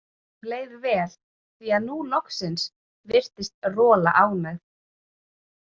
Honum leið vel, því að nú loksins virtist Rola ánægð.